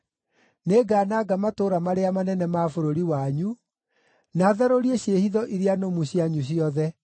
Nĩngananga matũũra marĩa manene ma bũrũri wanyu, na tharũrie ciĩhitho iria nũmu cianyu ciothe.